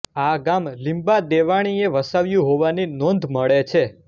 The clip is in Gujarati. આ ગામ લીંબા દેવાણીએ વસાવ્યું હોવાની નોંધ મળે છે